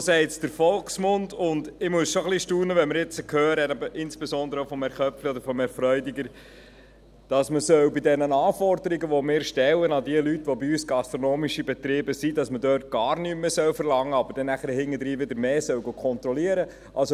So sagt es der Volksmund, und ich muss schon ein wenig staunen, wenn wir nun hören, insbesondere von Herrn Köpfli oder von Herrn Freudiger, dass man bei den Anforderungen, die wir an die Leute stellen, die bei uns gastronomische Betrieb führen, gar nichts mehr verlangen, aber dann nachher wieder mehr kontrollieren soll.